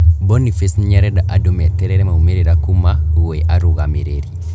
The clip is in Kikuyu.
Boniface niarenda andũ meterere maumĩrĩra kuma gwĩ arũgamĩrĩri